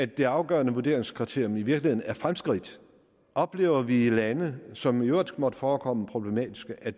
det afgørende vurderingskriterium i virkeligheden er fremskridt oplever vi i lande som i øvrigt måtte forekomme problematiske at